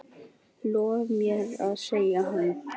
Lof mér að sjá hana